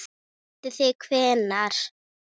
Vitið þið hvenær?